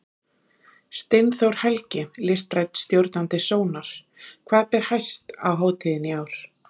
Steinþór Helgi, listrænn stjórnandi Sónar, hvað ber hæst á hátíðinni í ár?